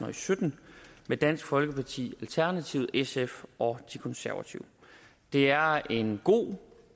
og sytten med dansk folkeparti alternativet sf og de konservative det er en god